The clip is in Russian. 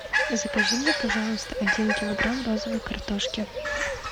закажи мне пожалуйста один килограмм розовой картошки